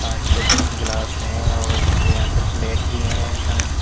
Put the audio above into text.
कांच के गिलास हैं और यहां पे प्लेट भी है कांच की।